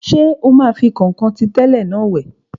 Ṣé o máa fi kọ̀nkọ̀n tí tẹ́lẹ̀ náà wẹ̀?